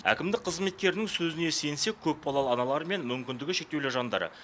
әкімдік қызметкерінің сөзіне сенсек көпбалалы аналар мен мүмкіндігі шектеулі жандар